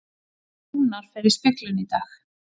Rúnar fer í speglun í dag